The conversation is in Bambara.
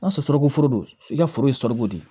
N'a sɔrɔ sunkaforo don i ka foro ye sɔli de ye